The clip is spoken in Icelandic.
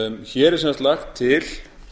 hér er sem sagt lagt til